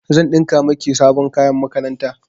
Zan ɗinka miki sabon kayan makaranta.